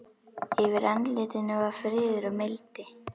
Yfir andlitinu var friður og mildi.